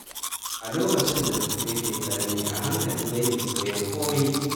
A lokacin da mutum yake ƙarami, a hankali yake koyon kome.